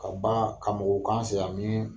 Ka ban ka mɔgɔw k'an sɛ yan min